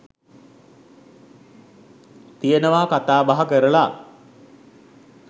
තියෙනවා කතා බහ කරලා.